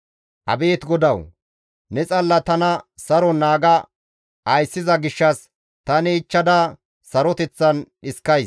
Abeet GODAWU! Ne xalla tana saron naaga ayssiza gishshas tani ichchada saroteththan dhiskays.